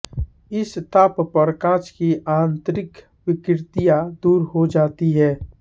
इस ताप पर काच की आंतरिक विकृतियाँ दूर हो जाती हैं